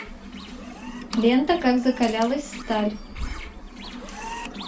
лента как закалялась сталь